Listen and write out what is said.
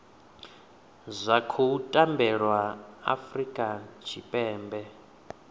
zwa khou tambelwa afurika tshipembe